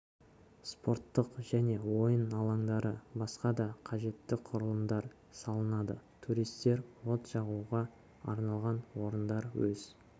спорттық және ойын алаңдары басқа да қажетті құрылымдар салынады туристер от жағуға арналған орындарда өз